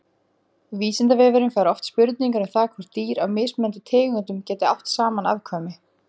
Vísindavefurinn fær oft spurningar um það hvort dýr af mismunandi tegundum geti átt saman afkvæmi.